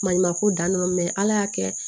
Maɲumanko dan don ala y'a kɛ